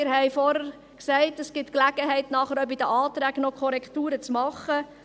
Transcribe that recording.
Es besteht die Gelegenheit, nachher bei den Anträgen noch Korrekturen vorzunehmen.